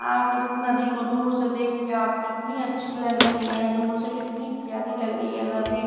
आप इस नदी को दूर से देख के आपको इतनी अच्छी लग रही है दूर से कितनी प्यारी लग रही है नदी।